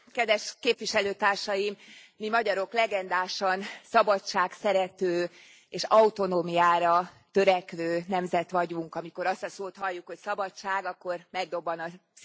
Elnök Úr, mi magyarok legendásan szabadságszerető és autonómiára törekvő nemzet vagyunk, amikor azt a szót halljuk, hogy szabadság, akkor megdobban a szívünk.